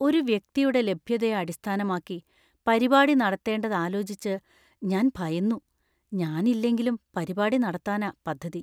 ഒരു വ്യക്തിയുടെ ലഭ്യതയെ അടിസ്ഥാനമാക്കി പരിപാടി നടത്തേണ്ടതാലോചിച്ച് ഞാൻ ഭയന്നു, ഞാനില്ലെങ്കിലും പരിപാടി നടത്താനാ പദ്ധതി.